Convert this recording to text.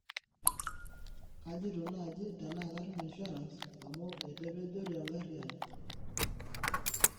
kajito naaji tenaa katum insurance amu etepejori enkari aai